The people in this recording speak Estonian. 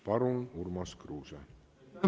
Palun, Urmas Kruuse!